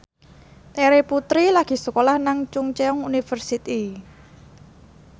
Terry Putri lagi sekolah nang Chungceong University